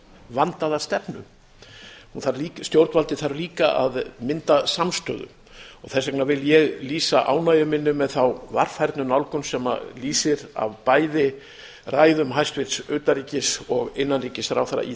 vandaða stefnu stjórnvaldið þarf líka að mynda samstöðu þess vegna vil ég lýsa ánægju minni með þá varfærnu nálgun sem lýsir af bæði ræðum hæstvirts utanríkis og innanríkisráðherra í